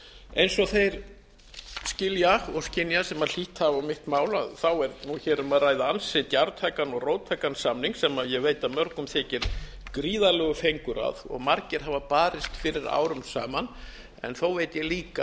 eins og þeir skilja og skynja sem hlítt hafa á mitt mál er nú hér um að ræða ansi djarftækan og róttækan samning sem ég veit að mörgum þykir gríðarlegur fengur að og margir hafa barist fyrir árum saman en þó veit ég